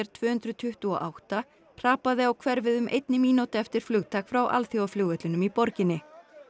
tvö hundruð tuttugu og átta hrapaði á hverfið um einni mínútu eftir flugtak frá alþjóðaflugvellinum í borginni